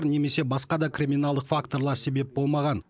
немесе басқа да криминалдық факторлар себеп болмаған